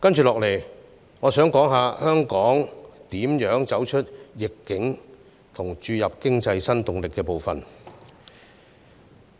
接下來，我想談談香港如何走出逆境和注入經濟新動力的部分。